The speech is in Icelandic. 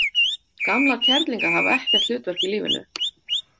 Gamlar kerlingar hafa ekkert hlutverk í lífinu.